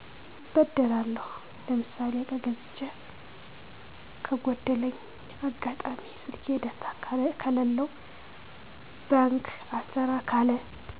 እበደራለሁ። ለምሳሌ እቃ ገዝቸ ከጎደለኝ፣ አጋጣሚ ስልኬ ዳታ ከለለው፣ ባንክ አልሰራ ካለ